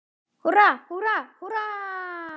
Húrra, húrra, húrra!